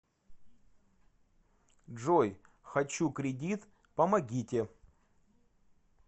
джой хочу кредит помогите